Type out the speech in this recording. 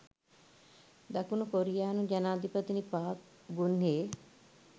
දකුණු කොරියානු ජනාධිපතිනි පාක් ගුන්හේ